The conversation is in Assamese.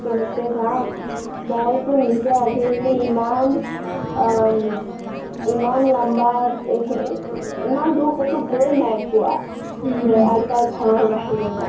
কেনেকে যাম, মই টো নিজে আজিলেকে ইমাল অ লম্বা ইমান দূৰ কতো গয় নাই পোৱা আইতা ঘৰৰ বাহিৰে,